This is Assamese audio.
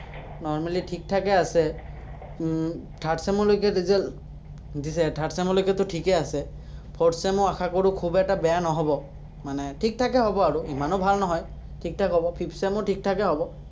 normally ঠিক-ঠাকে আছে। উম third sem লৈকে result দিছে, third sem লৈকেতো ঠিকে আছে। fourth sem ও আশা কৰো খুব এটা বেয়া নহ'ব, মানে ঠিক-ঠাকে হ'ব আৰু। ইমানো ভাল নহয়, ঠিক-ঠাক হ'ব। fifth sem ও ঠিক-ঠাকে হ'ব।